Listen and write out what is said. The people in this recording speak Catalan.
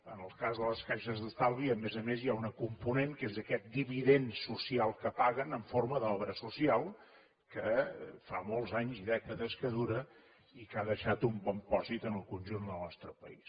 en el cas de les caixes d’estalvi a més a més hi ha un component que és aquest dividend social que paguen en forma d’obra social que fa molts anys i dècades que dura i que ha deixat un bon pòsit en el conjunt del nostre país